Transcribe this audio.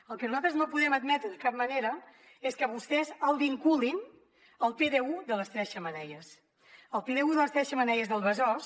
el que nosaltres no podem admetre de cap manera és que vostès el vinculin al pdu de les tres xemeneies el pdu de les tres xemeneies del besòs